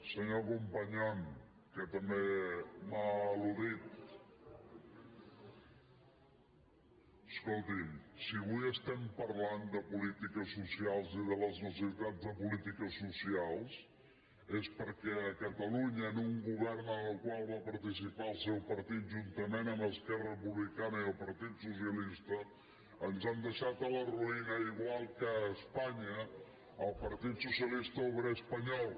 senyor companyon que també m’ha al·ludit escolti’m si avui estem parlant de polítiques socials i de les necessitats de polítiques socials és perquè a catalunya en un govern en el qual va participar el seu partit juntament amb esquerra republicana i el partit socialista ens han deixat a la ruïna igual que a espanya el partit socialista obrer espanyol